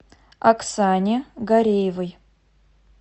оксане гареевой